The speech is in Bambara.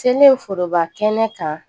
Seleri foroba kɛnɛ kan